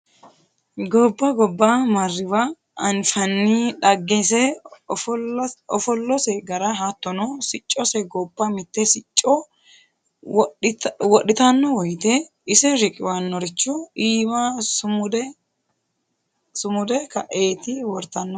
Gobba gobba marriwa anfanni dhaggese ofollose gara hattono siccose gobba mite sicco wodhittano woyte ise riqqiwanoricho iima sumude kaeti wortanohu.